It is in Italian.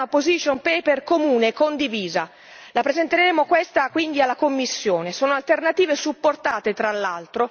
Abbiamo appena finito di presentare e di redigere un position paper comune e condiviso, lo presenteremo quindi alla Commissione.